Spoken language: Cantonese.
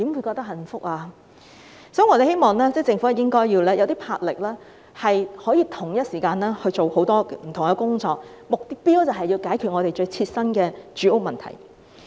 所以，我們希望政府要具魄力，可同時處理很多不同工作，目標就是要解決我們最切身的住屋問題。